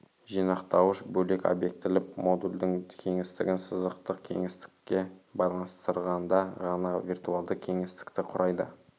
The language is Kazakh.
жинақтауыш бөлек обьектілі модульдің кеңістігін сызықтық кеңістікке байланыстырғанда ғана виртуалды кеңістікті құрайды